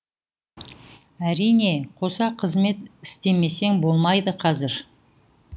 әрине қоса қызмет істемесең болмайды қазір